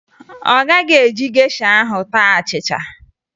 Ọ gaghị eji gesha ahụ taa achịcha